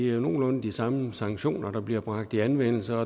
jo nogenlunde de samme sanktioner der bliver bragt i anvendelse